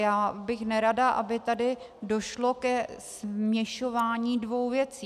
Já bych nerada, aby tady došlo ke směšování dvou věcí.